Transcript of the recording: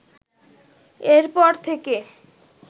এরপর থেকে